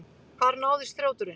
Hvar náðist þrjóturinn?